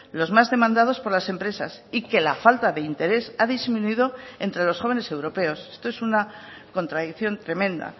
los más demandados por las empresas y que la falta de interés ha disminuido entre los jóvenes europeos esto es una contradicción tremenda